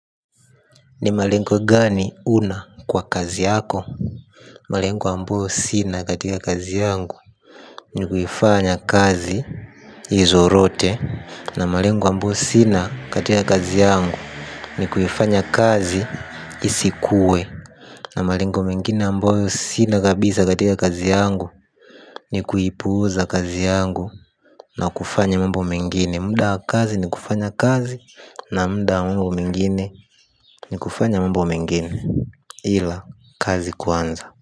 Ni malengo gani unayo kwa kazi yako? Malengo ambayo sina katika kazi yangu. Ni kuifanya kazi izorote. Na malenguwa mboyo sina katika kazi yangu. Ni kuifanya kazi isikue. Na malengo mengine ambayo sina kabisa katika kazi yangu. Ni kuipuuza kazi yangu. Na kufanya mambo mengine. Muda wa kazi ni kufanya kazi. Na muda mwingine ni kufanya mambo mengine, ila kazi kwanza.